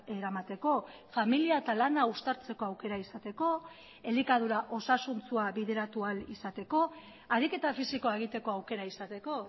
eramateko familia eta lana uztartzeko aukera izateko elikadura osasuntsua bideratu ahal izateko ariketa fisikoa egiteko aukera izateko